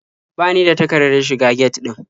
Ba ni da takardar shiga get ɗin.